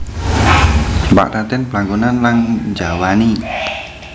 Pak Raden blangkonan lang njawani